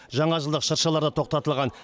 жаңажылдық шыршалар да тоқтатылған